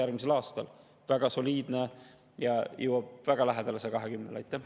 See on väga soliidne ja jõuab väga lähedale 120%-le.